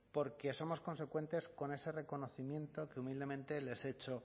porque somos consecuentes con ese reconocimiento que humildemente les he hecho